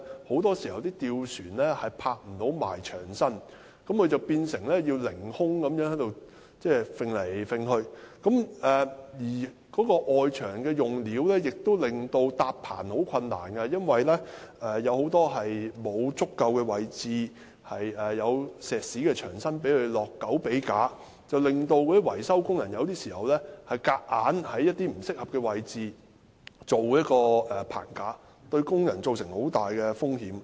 況且，外牆用料亦令工人難以搭建棚架，因為大部分的外牆位置都沒有足夠的石屎牆身讓工人安裝狗臂架，以致維修工人有時候被迫在外牆不適合的位置搭建棚架，這樣對工人造成很大的風險。